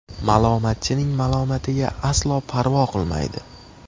Malomatchining malomatiga aslo parvo qilmaydi.